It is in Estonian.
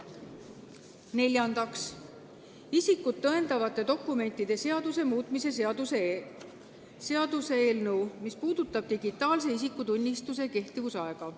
Neljandaks, isikut tõendavate dokumentide seaduse muutmise seaduse eelnõu, mis puudutab digitaalse isikutunnistuse kehtivuse aega.